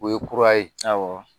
O ye kura ye.